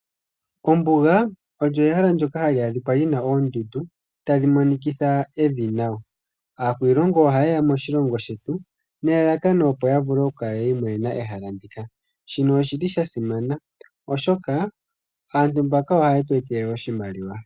Ombuga olyo ehala ndyoka hali adhika li na oondundu, tadhi monikitha evi nawa. Aakwiilongo ohayeya moshilongo shetu, nelalakano opo yavule okukala yiimonena ehala ndika. Shino oshi li shasimana, oshoka aantu mbaka ohayetu etele oshimaliwa.